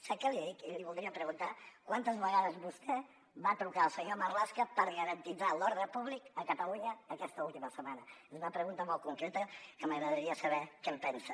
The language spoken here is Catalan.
sap què li dic i l’hi voldria preguntar quantes vegades vostè va trucar el senyor marlaska per garantir l’ordre públic a catalunya aquesta última setmana és una pregunta molt concreta que m’agradaria saber què en pensa